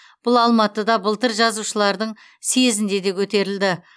бұл алматыда былтыр жазушылардың съезінде де көтерілді